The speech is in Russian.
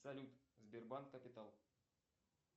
салют сбербанк капитал